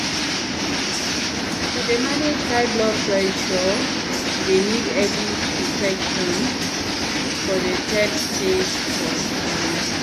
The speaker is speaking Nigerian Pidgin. to dey manage high blood blood pressure dey need early detection for de third stage for belle